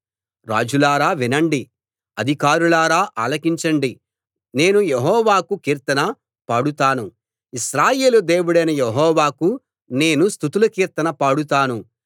రాజులారా వినండి అధికారులారా ఆలకించండి నేను యెహోవాకు కీర్తన పాడుతాను ఇశ్రాయేలు దేవుడైన యెహోవాకు నేను స్తుతుల కీర్తన పాడుతాను